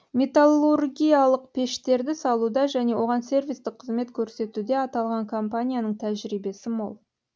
металлургиялық пештерді салуда және оған сервистік қызмет көрсетуде аталған компанияның тәжірибесі мол